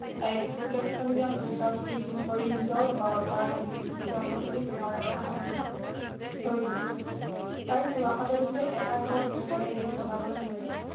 তাইক কুলৈখনীয়া তিৰোতা বুলি ঠিক কৰি নিজৰ ঘৰৰ পৰা খেদি দি চোৱা পাতনিত ঘৰ এটা সাজি থৈ দিলে তাই চোৱা পাতনিতে এটা ঘৰত দুখেৰে দিন কটাবলৈ ধৰিলে